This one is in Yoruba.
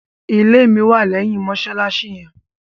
Ìlẹ̀ mi wà lẹyìn mosalasi yẹn.